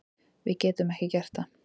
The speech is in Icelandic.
Við getum ekki gert það